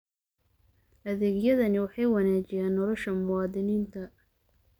Adeegyadani waxay wanaajiyaan nolosha muwaadiniinta.